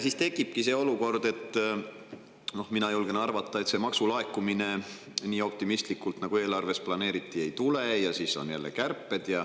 Siis tekibki see olukord, mina julgen arvata, et maksud nii, nagu eelarves optimistlikult planeeriti, ei laeku ja siis on jälle kärped.